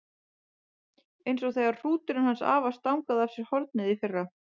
Eins og þegar hrúturinn hans afa stangaði af sér hornið í fyrra.